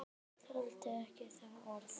Þoldi ekki það orð.